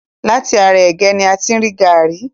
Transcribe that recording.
Láti ara ègé ni a ti rí gàrí.